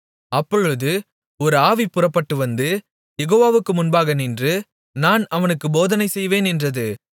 அப்பொழுது ஒரு ஆவி புறப்பட்டு வந்து யெகோவாவுக்கு முன்பாக நின்று நான் அவனுக்குப் போதனை செய்வேன் என்றது